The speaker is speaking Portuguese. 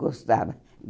Gostava.